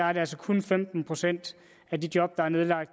er det altså kun femten procent af de job der er nedlagt